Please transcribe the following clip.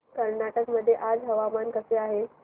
कर्नाटक मध्ये आज हवामान कसे आहे